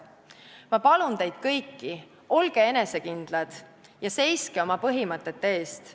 Ma palun teid kõiki: olge enesekindlad ja seiske oma põhimõtete eest!